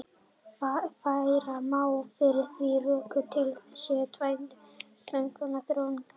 Færa má fyrir því rök að til séu tvenns konar þróunarkenningar.